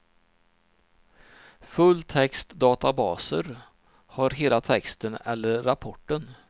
Fulltextdatabaser har hela texten eller rapporten.